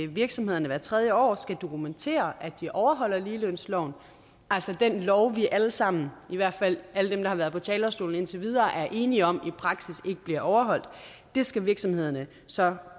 virksomhederne hvert tredje år skal dokumentere at de overholder ligelønsloven altså den lov vi alle sammen i hvert fald alle dem der har været på talerstolen indtil videre er enige om i praksis ikke bliver overholdt det skal virksomhederne så